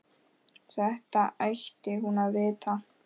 Þetta ætti hún að vita.